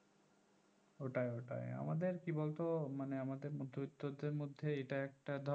ওইটাই ওইটাই আমাদের কি বলতো মানে আমাদের মধ্যেবিত্তদের মধ্যে এটা একটা ধর